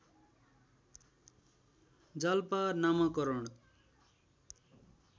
जालपा नामाकरण